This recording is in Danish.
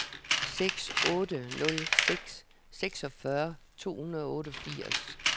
seks otte nul seks seksogfyrre to hundrede og otteogfirs